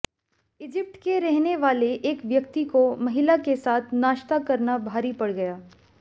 Egypt के रहने वाले एक व्यक्ति को महिला के साथ नाश्ता करना भारी पड़ गया